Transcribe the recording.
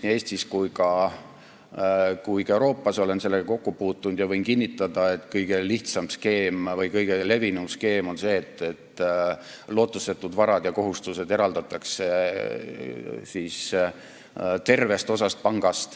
Nii Eestis kui ka mujal Euroopas olen sellega kokku puutunud ja võin kinnitada, et kõige lihtsam või kõige levinum skeem on see, et lootusetud varad ja kohustused eraldatakse panga tervest osast.